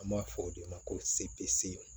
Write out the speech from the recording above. An b'a fɔ o de ma ko sepese